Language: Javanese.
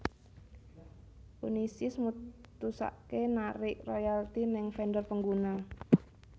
Unisys mutusaké narik royalti neng vendor pengguna